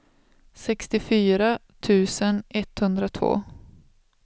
sextiofyra tusen etthundratvå